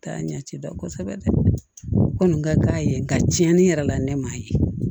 K'a ɲɛci dɔn kosɛbɛ dɛ ko nin ka k'a ye nka cɛnni yɛrɛ la ne m'a ye